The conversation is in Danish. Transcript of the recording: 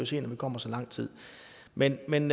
se når vi kommer så langt men men